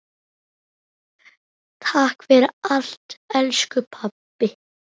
Takk fyrir allt elsku pabbi.